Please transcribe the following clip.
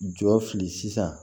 Jɔ fili sisan